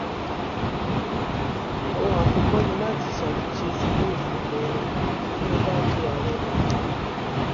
ohun àkọkọ ni láti ṣàtúnṣe síwèé òfin ilé wa tí mo bá di ààrẹ nàíjíríà